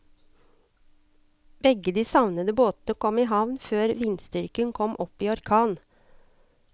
Begge de savnede båtene kom i havn før vindstyrken kom opp i orkan.